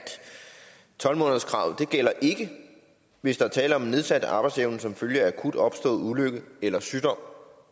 tolv månederskravet ikke gælder hvis der er tale om en nedsat arbejdsevne som følge af akut opstået ulykke eller sygdom og